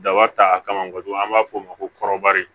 Daba ta kama kojugu an b'a f'o ma ko kɔrɔbari